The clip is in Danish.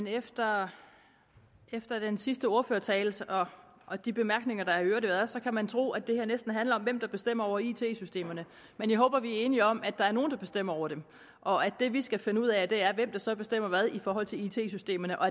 efter efter den sidste ordførertale og de bemærkninger der i øvrigt har været så kan man tro at det her næsten handler om hvem der bestemmer over it systemerne men jeg håber at vi er enige om at der er nogle der bestemmer over dem og at det vi skal finde ud af er hvem der så bestemmer hvad i forhold til it systemerne og